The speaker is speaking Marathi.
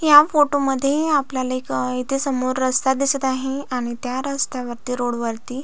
या फोटो मध्ये आपल्याला एक अ येथे समोर रस्ता दिसत आहे आणि त्या रस्त्या वरती रोड वरती--